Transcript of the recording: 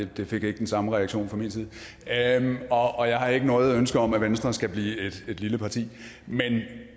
det fik ikke den samme reaktion fra min side og jeg har ikke noget ønske om at venstre skal blive et lille parti men